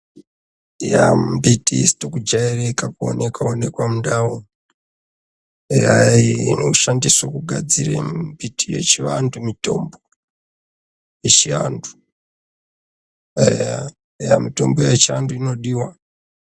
Mumbitiisito kujairika kuonekwa onekwa mundau eyai inoshandiswe kugadzire mimbiti yechivantu mitombo yechiantu eya mitombo yechiantu inodiwa.